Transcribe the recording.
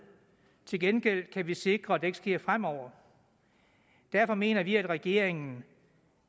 til gengæld kan vi sikre at det ikke sker fremover derfor mener vi i enhedslisten at regeringen